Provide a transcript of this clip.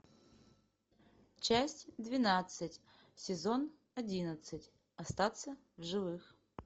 часть двенадцать сезон одиннадцать остаться в живых